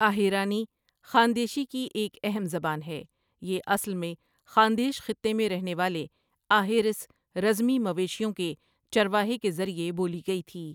آہیرانی ، خاندیشی کی ایک اہم زبان ہے یہ اصل میں خاندیش خطے میں رہنے والے آہیرس رزمی مویشیوں کے چرواہے کے ذریعہ بولی گیی تھی ۔